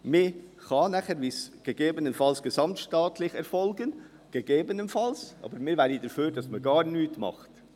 Es kann nachher gegebenenfalls gesamtstaatlich erfolgen – gegebenenfalls –, aber wir wären dafür, dass man gar nichts macht.